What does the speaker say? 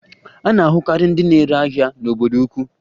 A na-ahụkarị ndị na-ere ahịa n'obodo ukwu.